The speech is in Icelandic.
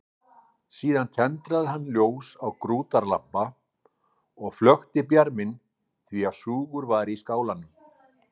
Síðan tendraði hann ljós á grútarlampa og flökti bjarminn því súgur var í skálanum.